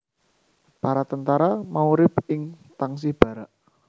Para tentara mau urip ing tangsi barak